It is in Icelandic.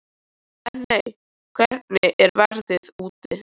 Benney, hvernig er veðrið úti?